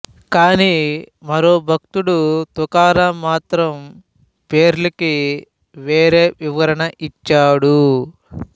కానీ మరో భక్తుడు తుకారాం మాత్రం పేర్లకి వేరే వివరణ ఇచ్చాడు